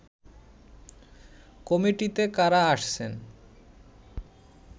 কমিটিতে কারা আসছেন